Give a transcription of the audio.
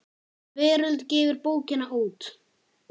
Veröld gefur bókina út.